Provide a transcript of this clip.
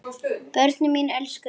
Börnin mín elskuðu hann.